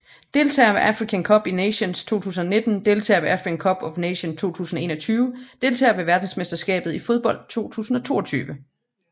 Deltagere ved Africa Cup of Nations 2019 Deltagere ved Africa Cup of Nations 2021 Deltagere ved verdensmesterskabet i fodbold 2022